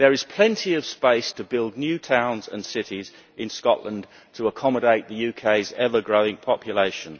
There is plenty of space to build new towns and cities in Scotland to accommodate the UK's ever growing population.